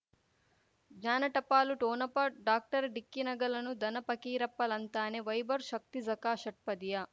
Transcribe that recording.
ಜ್ಞಾನ ಟಪಾಲು ಠೊಣಪ ಡಾಕ್ಟರ್ ಢಿಕ್ಕಿ ಣಗಳನು ಧನ ಫಕೀರಪ್ಪ ಳಂತಾನೆ ವೈಭವ್ ಶಕ್ತಿ ಝಗಾ ಷಟ್ಪದಿಯ